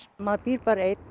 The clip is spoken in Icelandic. maður býr bara einn